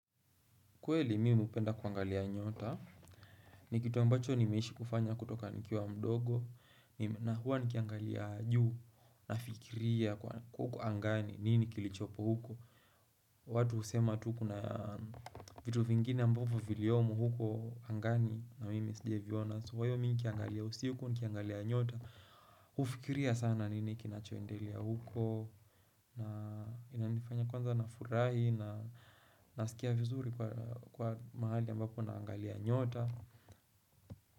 Kweli mimi hupenda kuangalia nyota ni kitu ambacho nimeishi kufanya kutoka nikiwa mdogo na huwa nikiangalia juu nafikiria huko angani nini kilichopo huko. Watu usema tu kuna vitu vingine ambapo viliyomu huko angani na mimi sijaviona so kwa hivyo mimi nikiangalia usiku nikiangalia nyota hufikiria sana nini kinachoendelea huko na inanifanya kwanza nafurahi na nasikia vizuri kwa mahali ambapo naangalia nyota.